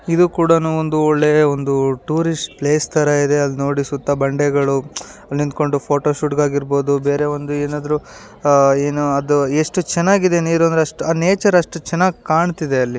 ಇದು ಕೂಡ ನೋಡಿ ಒಂದು ಟೂರಿಸ್ಟ್ ಪ್ಲೇಸ್ ತಾರಾ ಇದೆ ನೋಡಿ ಸುತ್ತಲೂ ಬಂಡೆಗಳು ಅಲ್ಲಿ ನಿಂಥಂಕೊಂಡು ಫೋಟೋ ಶೂಟ್ ಆಗಿರ್ಬಹುದು. ಬೇರೆ ಒಂದು ಏನಾದರೂ ಎಷ್ಟು ಚೆನ್ನಾಗಿದೆ ಅದು ನೀರು ಅಂದ್ರೆ ಅ ನೇಚರ್ ಅಷ್ಟು ಚೆನ್ನಾಗಿ ಕಾಣ್ತಾ ಇದೆ ಅಲ್ಲಿ.